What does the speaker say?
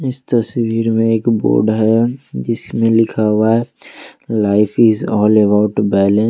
इस तस्वीर में एक बोर्ड है जिसमें लिखा हुआ है life is all about balance.